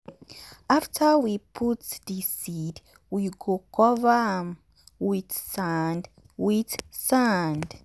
after we put the seed we go cover am with sand. with sand.